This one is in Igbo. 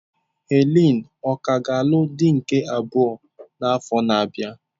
Helen ọ̀ ka ga-alụ di nke abụọ n'afọ na-abịa?